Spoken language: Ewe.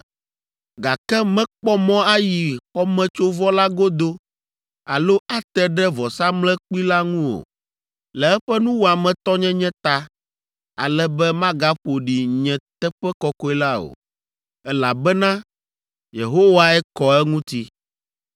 gake mekpɔ mɔ ayi xɔmetsovɔ la godo alo ate ɖe vɔsamlekpui la ŋu o, le eƒe nuwɔametɔnyenye ta, ale be magaƒo ɖi nye teƒe kɔkɔe la o, elabena Yehowae kɔ eŋuti.’ ”